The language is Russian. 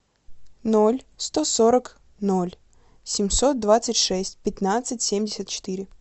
ноль сто сорок ноль семьсот двадцать шесть пятнадцать семьдесят четыре